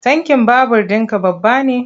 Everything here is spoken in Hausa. Tankin babur ɗinka babba ne?